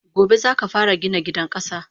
Gobe zaka fara Gina gidan kasa!